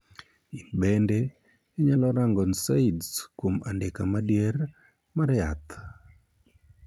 In bende inyalo rango 'NSAIDs' kuom Andika Madier mar Yath.